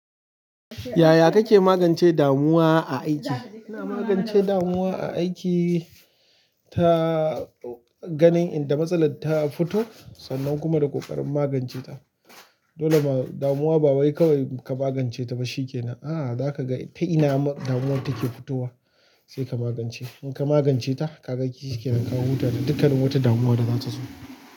Yaya kake magance damuwa a aiki? Ina magance damuwa a aiki ta ganin inda matsalar ta fito sannan kuma da ƙoƙarin magance ta. Dole damuwa ba wai kawai ka magance ta ba, shikenan, "ah, zaka ga ita ina damuwar take fitowa, sai ka magance." In ka magance ta, ka ga shi yake nan, ka huta da dukkanin wata damuwa da zata zo.